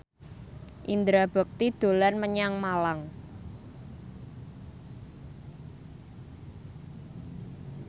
Indra Bekti dolan menyang Malang